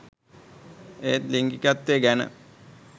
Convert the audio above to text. ඒත් ලිංගිකත්වය ගැන